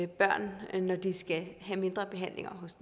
børn når de skal have mindre behandling hos